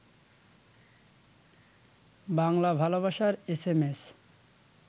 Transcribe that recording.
বাংলা ভালবাসার এসএমএস